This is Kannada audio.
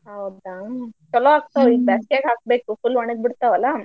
ಹೌದಾ ಚೊಲೋ ಆಗ್ತಾವ್ ಈ ಬ್ಯಾಸ್ಗ್ಯಾಗ್ ಹಾಕ್ಬೇಕು full ಒಣಗ್ ಬಿಡ್ತಾವಲಾ.